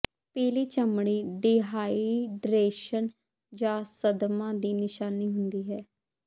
ਪੀਲੀ ਚਮੜੀ ਡੀਹਾਈਡਰੇਸ਼ਨ ਜਾਂ ਸਦਮਾ ਦੀ ਨਿਸ਼ਾਨੀ ਹੁੰਦੀ ਹੈ